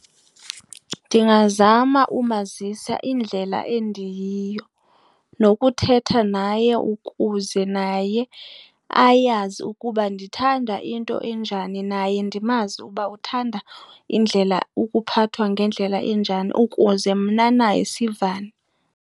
Ndingazama umazisa indlela endiyiyo nokuthetha naye ukuze naye ayazi ukuba ndithanda into enjani naye ndimazi ukuba uthanda ukuphathwa ngendlela enjani ukuze mna naye sivane.